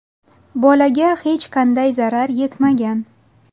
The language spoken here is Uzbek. Bolaga hech qanday zarar yetmagan.